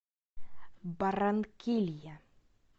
барранкилья